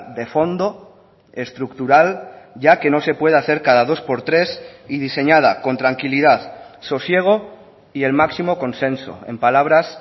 de fondo estructural ya que no se puede hacer cada dos por tres y diseñada con tranquilidad sosiego y el máximo consenso en palabras